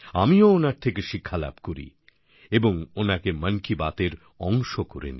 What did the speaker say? আমিও ওনার থেকে শিক্ষালাভ করি এবং ওনাকে মন কি বাতএর অংশ করেনি